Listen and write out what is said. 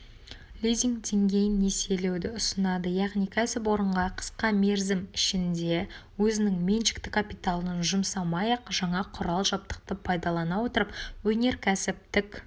лизинг дейін несиелеуді ұсынады яғни кәсіпорынға қысқа мерзім ішінде өзінің меншікті капиталын жұмсамай-ақ жаңа құрал-жабдықты пайдалана отырып өнеркәсіптік